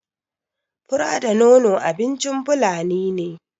Fura da nono abincin fulani ne